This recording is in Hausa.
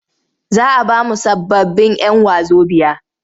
Za a ba mu sababbin'yan wazobiya.